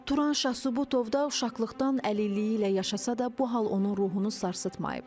Turan Şahsübotov da uşaqlıqdan əlilliyi ilə yaşasa da, bu hal onun ruhunu sarsıtmayıb.